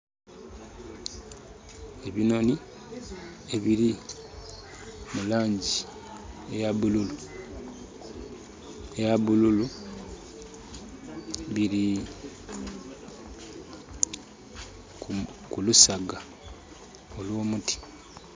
Ebinhonhi ebiri mulangi eya bululu biri kulusaga olwo muti